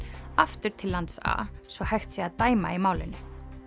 aftur til lands a svo hægt sé að dæma í málinu